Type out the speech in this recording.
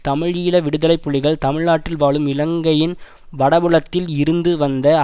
தமிழீழ விடுதலைப்புலிகள் தமிழ்நாட்டில் வாழும் இலங்கையின் வடபுலத்தில் இருந்து வந்த